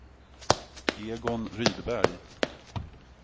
Egon Rydberg